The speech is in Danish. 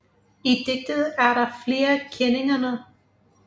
I digtet er der flere kenninger